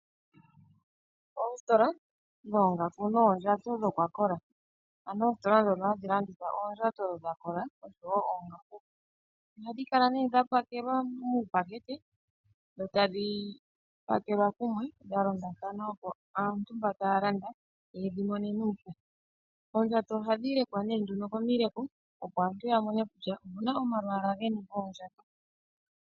Oositola dhoongaku noondjato dhokwakola, ano oositola ndhono hadhi landitha oondjato dha kola oshowo oongaku, ohadhi kala nee dha pakelwa muupakete dho tadhi pakelwa kumwe dha londathana, opo aantu mbo taya landa ye dhi mone nuupu. Oondjato ohadhi lekwa nee nduno komileko, opo aantu ya mone kutya omuna omalwaala geni goondjato.